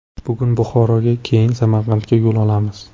Bugun Buxoroga, keyin Samarqandga yo‘l olamiz.